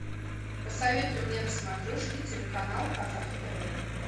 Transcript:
посоветуй мне на смотрешке телеканал казах тв